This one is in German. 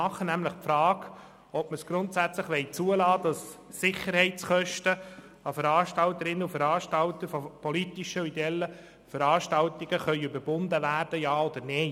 Wollen wir grundsätzlich zulassen, dass Sicherheitskosten an Organisatorinnen und Organisatoren von politischen und ideellen Veranstaltungen weiter verrechnet werden können?